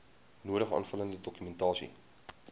nodige aanvullende dokumentasie